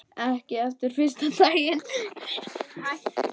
Ekki eftir fyrsta daginn.